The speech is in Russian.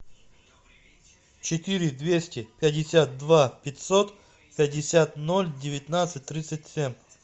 четыре двести пятьдесят два пятьсот пятьдесят ноль девятнадцать тридцать семь